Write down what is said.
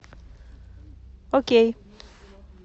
окей